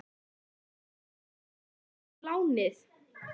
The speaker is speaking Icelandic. Heldur þú að þetta gangi upp í lánið?